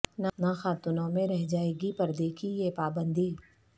نہ خاتونوں میں رہ جائے گی پردے کی یہ پابندی